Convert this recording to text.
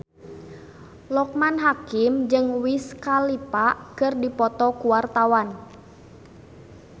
Loekman Hakim jeung Wiz Khalifa keur dipoto ku wartawan